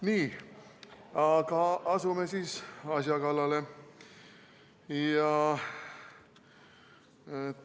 Nii, aga asume asja kallale.